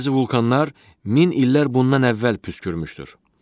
Bəzi vulkanlar min illər bundan əvvəl püskürmüşdür.